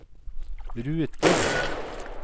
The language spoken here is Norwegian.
ruter